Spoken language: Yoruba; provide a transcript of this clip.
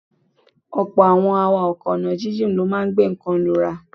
Ọ̀pọ̀ àwọn awakọ̀ ọ̀nà jíjìn ló máa ń gbé nǹkan lura.